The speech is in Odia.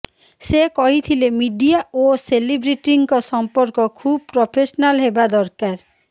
ସେ କହିଥିଲେ ମିଡିଆ ଓ ସେଲେବ୍ରିଟିଙ୍କ ସମ୍ପର୍କ ଖୁବ୍ ପ୍ରଫେସନାଲ୍ ହେବା ଦରକାର